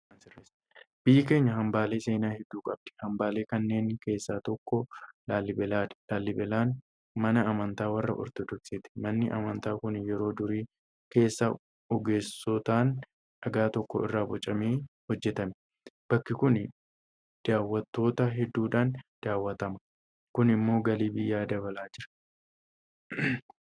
Biyyi keenya hambaalee seenaa hedduu qabdi. Hambaalee kanneen keessaa tokko Laallibalaadha. Laallibalaan mana amantaa warra Ortodoksiiti. Manni amantaa kun yeroo durii keessaa ogeessotaan dhagaa tokko irraa bocamee hojjetame. Bakki kun daawwattoota hedduudhaan daawwatama. Kun immoo galii biyyaa dabalaa jira.